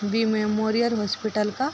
B memorial hospital का --